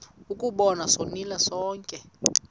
ukuba sonile sonke